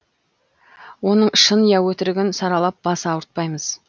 оның шын ия өтірігін саралап бас ауыртпаймыз